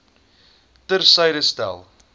ter syde stel